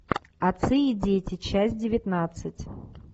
отцы и дети часть девятнадцать